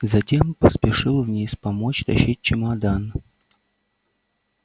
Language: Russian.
затем поспешил вниз помочь тащить чемодан